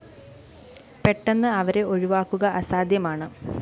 പെട്ടെന്ന് അവരെ ഒഴിവാക്കുക അസാധ്യമാണ്